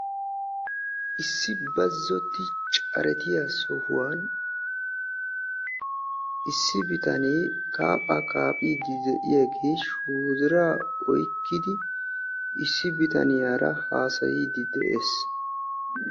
Issi bazzotti caretta sohuwan issi bitame shoodiraa oyqqiddi issi bitaniyaara haasayidde de'ees.